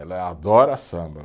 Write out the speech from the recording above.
Ela adora samba.